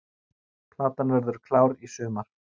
Platan verður klár í sumar